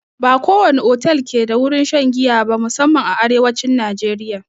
Ba ko wani otal ke da wurin shan giya ba, musanman a arewacin najeriya.